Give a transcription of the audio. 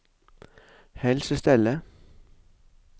helsestellet